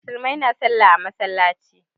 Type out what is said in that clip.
Musulmai na sallah a masallaci